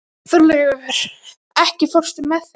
Þorlaugur, ekki fórstu með þeim?